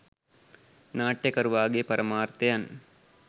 නාට්‍යකරුවාගේ පරමාර්ථයන්